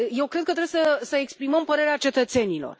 Eu cred că trebuie să exprimăm părerea cetățenilor.